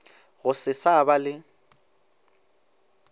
go se sa ba le